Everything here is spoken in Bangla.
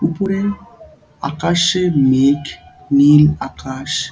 উপরে আকাশের মেঘ নীল আকাশ ।